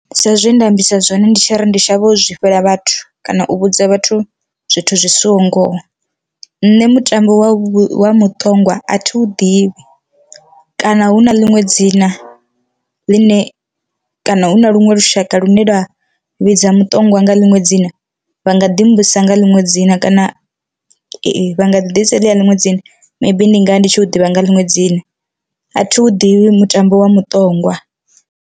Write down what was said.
Sa zwe nda ambisa zwone ndi tshi ri ndi shavha u zwi fhela vhathu kana u vhudza vhathu zwithu zwi siho ngoho, nṋe mutambo wa wa muṱongwa athi u ḓivhi kana hu na ḽiṅwe dzina ḽine kana hu na luṅwe lushaka lune lwa vhidza muṱongwa nga ḽiṅwe dzina, vha nga ḓi mbudzisa nga ḽiṅwe dzina kana vha nga ḓisa heḽia ḽiṅwe dzina maybe ndi ngari ndi tshi u ḓivha nga ḽiṅwe dzina athi vhu ḓivhi mutambo wa muṱongwa.